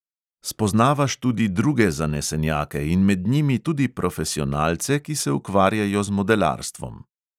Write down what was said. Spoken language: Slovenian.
Spoznavaš tudi druge zanesenjake in med njimi tudi profesionalce, ki se ukvarjajo z modelarstvom.